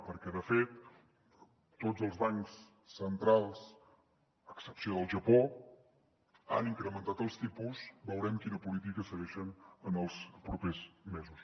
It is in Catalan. perquè de fet tots els bancs centrals a excepció del japó han incrementat els tipus veurem quina política segueixen en els propers mesos